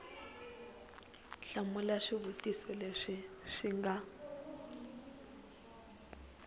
hlamula swivutiso leswi swi nga